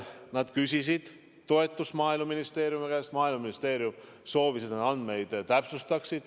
Nad küsisid toetust Maaeluministeeriumi käest, Maaeluministeerium soovis, et nad andmeid täpsustaksid.